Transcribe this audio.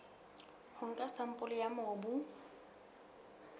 ho nka sampole ya mobu